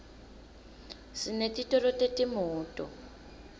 sinetitolo tetimoto